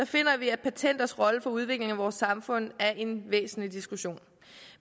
finder vi at patenters rolle for udviklingen af vores samfund er en væsentlig diskussion